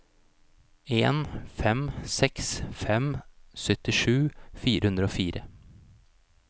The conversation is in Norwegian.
en fem seks fem syttisju fire hundre og fire